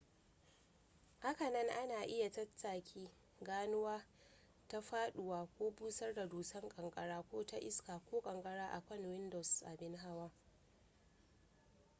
hakanan ana iya taƙaita ganuwa ta faɗuwa ko busar da dusar ƙanƙara ko ta iska ko kankara akan windows abin hawa